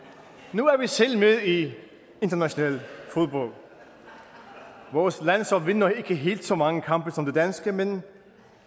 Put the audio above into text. nu er vi selv med i international fodbold vores landshold vinder ikke helt så mange kampe som det danske men